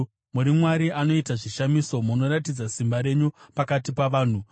Muri Mwari anoita zvishamiso; munoratidza simba renyu pakati pavanhu.